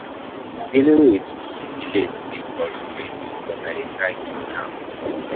Dealing with um delays dey frustrate, but I dey try keep calm.